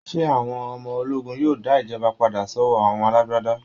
ṣé àwọn ọmọ ológun yóò dá ìjọba padà sọ́wọ́ àwọn alágbádá?